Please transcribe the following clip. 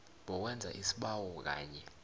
bowenza isibawo kanye